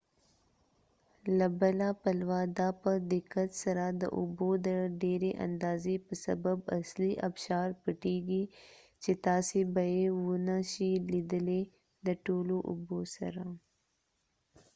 له بله پلوه دا په دقت سره د اوبو د ډیری اندازی په سبب اصلی ابشار پټیږي چې تاسی به یې و نه شي لیدلی د ټولو اوبوسره